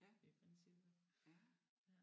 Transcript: Ja ja